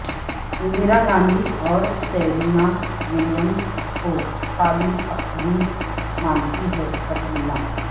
اندرا گاندھی اور Serena Williams کو قابل تقلید مانتی ہیں کٹرینہ